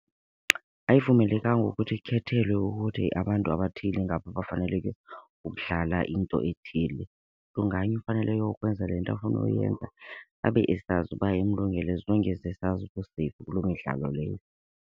Ayivumelekanga ukuthi ikhethelwe ukuthi abantu abathile ngabo abafaneleke ukudlala into ethile. Mntu ngamnye ufanele ayokwenza le nto afuna uyenza abe esazi uba imlungele, as long as esazi u-safe kuloo midlalo leyo.